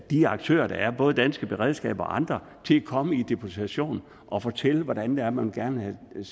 de aktører der er både danske beredskaber og andre til at komme i deputation og fortælle hvordan det er man gerne vil